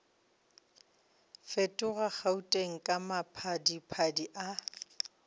fetoga gauteng ka maphadiphadi a